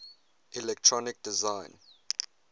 electronic design